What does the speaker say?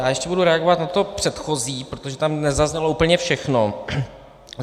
Já ještě budu reagovat na to předchozí, protože tam nezaznělo úplně všechno.